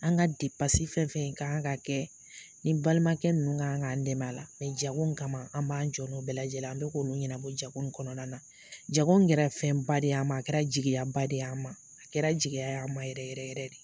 An ka fɛn fɛn kaan ka kɛ, ni balimakɛ nunnu ka kan' an dɛmɛ la jago kama an b'an jɔ no bɛɛ lajɛlen an bɛ k'olu ɲɛnabɔ jago in kɔnɔna na, jago kɛra fɛnba de a ma a kɛra jigiyaba de a ma, a kɛra jigi y a ma yɛrɛ yɛrɛ de.